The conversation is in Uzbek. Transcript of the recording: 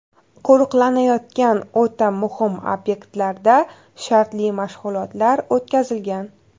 Qo‘riqlanayotgan o‘ta muhim obyektlarda shartli mashg‘ulotlar o‘tkazilgan.